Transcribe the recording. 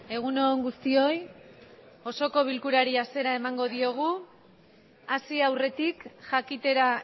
egun on guztioi osoko bilkurari hasiera emango diogu hasi aurretik jakitera